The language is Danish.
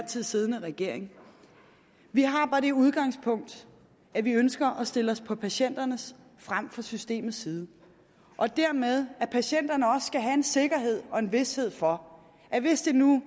tid siddende regering vi har bare det udgangspunkt at vi ønsker at stille os på patienternes frem for på systemets side og dermed at patienterne også skal have en sikkerhed og en vished for at hvis det nu